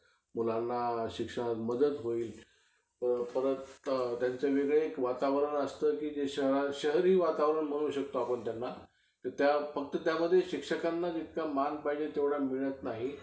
तू मला बिनधास्त कधीही phone कर, काही problem नाही.